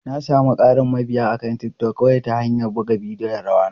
Na sami ƙarin mabiya akan TikTok kawai ta hanyar buga bidiyon rawa na.